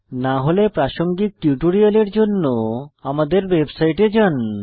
না হলে প্রাসঙ্গিক টিউটোরিয়ালের জন্য আমাদের ওয়েবসাইটে যান